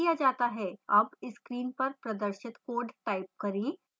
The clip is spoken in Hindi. अब screen पर प्रदर्शित code type करें